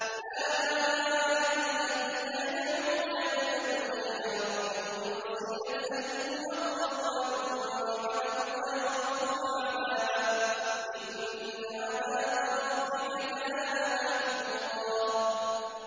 أُولَٰئِكَ الَّذِينَ يَدْعُونَ يَبْتَغُونَ إِلَىٰ رَبِّهِمُ الْوَسِيلَةَ أَيُّهُمْ أَقْرَبُ وَيَرْجُونَ رَحْمَتَهُ وَيَخَافُونَ عَذَابَهُ ۚ إِنَّ عَذَابَ رَبِّكَ كَانَ مَحْذُورًا